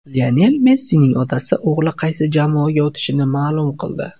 Lionel Messining otasi o‘g‘li qaysi jamoaga o‘tishini ma’lum qildi.